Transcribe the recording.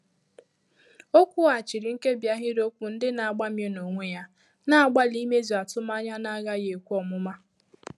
Ọ́ kwùghàchìrì nkèbí áhị́rị́okwụ́ ndị́ nà-àgbá míé n’ónwé yá, nà-àgbàlí ímézù àtụ́mànyà nà-ághàghị́ ékwé ọmụma.